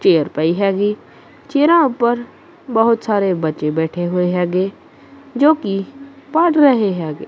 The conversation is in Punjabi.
ਚੇਅਰ ਪਈ ਹੈਗੀ ਚੇਅਰਾ ਉੱਪਰ ਬਹੁਤ ਸਾਰੇ ਬੱਚੇ ਬੈਠੇ ਹੋਏ ਹੈਗੇ ਜੋ ਕਿ ਪੜ ਰਹੇ ਹੈਗੇ।